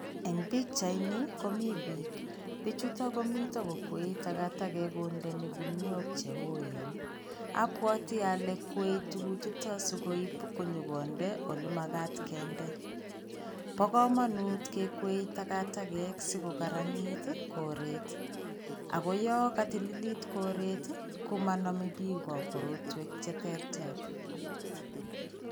Eng pichaini komi pik. Pichuto komito kokwei tagatagek kondeni gunuiok che oen. Abwati ale kwae tuguchuto sikoip nyokonde olemagat kende. Bo kamanut kekwee tagatagek sigogarnit ii koret ago yon katililit koret ii komaname biko korotwek cheterter.